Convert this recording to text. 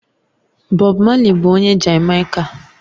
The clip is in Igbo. Bob Marley bụ onye Jamaica